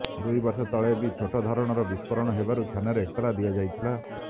ଦୁଇ ବର୍ଷ ତଳେ ବି ଛୋଟ ଧରଣର ବିସ୍ଫୋରଣ ହେବାରୁ ଥାନାରେ ଏତଲା ଦିଆଯାଇଥିଲା